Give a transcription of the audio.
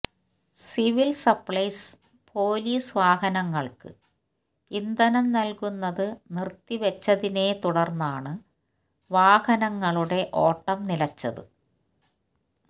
civil supplies police വാഹനങ്ങള്ക്ക് ഇന്ധനം നല്കുന്നത് നിര്ത്തിവച്ചതിനെ തുടര്ന്നാണ് വാഹനങ്ങളുടെ ഓട്ടം നിലച്ചത്